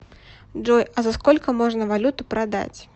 джой а за сколько можно валюту продать